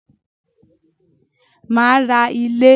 Màá ra ilé